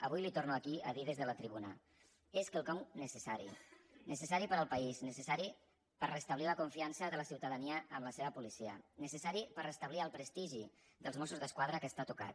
avui li ho torno aquí a dir des de la tribuna és quelcom necessari necessari per al país necessari per a restablir la confiança de la ciutadania amb la seva policia necessari per a restablir el prestigi dels mossos d’esquadra que està tocat